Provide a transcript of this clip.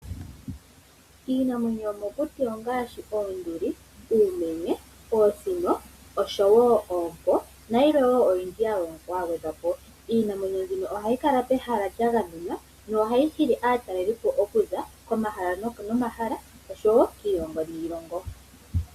Iinamwenyo yomokuti ongaashi oonduli, uumenye, uusino oshowo oompo nayilwe wo oyindji ya gwedhwa po. Iinamwenyo mbino ohayi kala pehala lya gamenwa nohayi hili aatalelipo okuza komahala nomahala noshowo kiilongo niilongo.